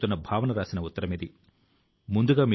in లో registration కూడా మొదలవబోతోంది